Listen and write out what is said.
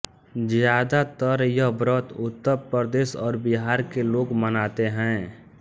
ज्यादातर यह व्रत उत्तरप्रदेश और बिहार के लोग मनातें हैं